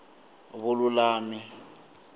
vululami